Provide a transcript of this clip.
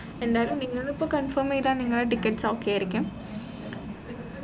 എന്തായാലും നിങ്ങള് ഇപ്പൊ confirm ചെയ്താൽ നിങ്ങളെ tickets okay ആയിരിക്കും